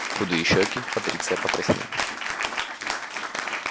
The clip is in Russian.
худые щеки патриция покраснели